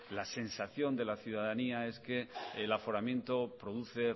la sensación de la ciudadanía es que el aforamiento produce